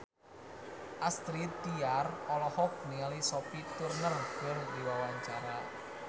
Astrid Tiar olohok ningali Sophie Turner keur diwawancara